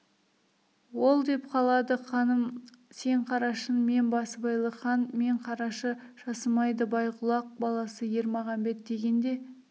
ол деп қалады ханым сен қарашың мен басыбайлы хан мен қарашы жасымайды байғұлақ баласы ермағанбет дегенде